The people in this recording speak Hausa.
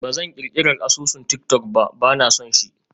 Ba zan ƙirƙirar asusun tik-tok ba, ba na son shi.